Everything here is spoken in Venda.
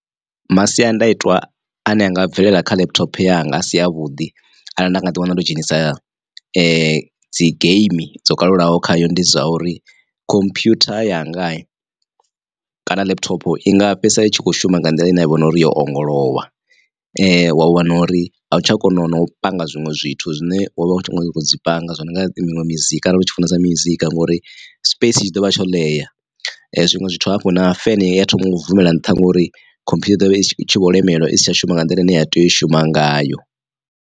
Masiandaitwa ane anga bvelela kha laptop yanga asi avhuḓi arali nda nga ḓi wana ndo dzhenisa dzi game dzo kalulaho khayo ndi zwa uri khomphutha yanga kana laptop i nga fhedzisela itshi kho shuma nga nḓila ine ya vho na uri yo ongolowa wa wana uri a u tsha kona u panga zwiṅwe zwithu zwine wa vha u tshi nga dzi panga zwo no nga miṅwe mizika arali u tshi funesa mizika ngori space tshi ḓovha tsho ḽea. Zwiṅwe zwithu hafhu na fene iya thoma u bvumela nṱha ngori khomphutha i ḓovha i tshi vho lemelwa isi tsha shuma nga nḓila ine ya tea u shuma ngayo.